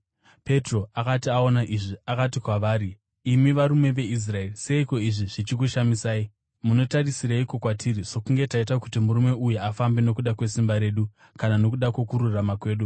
Petro akati aona izvi, akati kwavari, “Imi varume veIsraeri, seiko izvi zvichikushamisai? Munotarisireiko kwatiri sokunge taita kuti murume uyu afambe nokuda kwesimba redu kana nokuda kwokururama kwedu?